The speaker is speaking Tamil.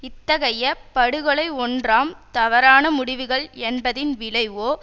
இத்தகைய படுகொலை ஒன்றாம் தவறான முடிவுகள் என்பதின் விளைவோ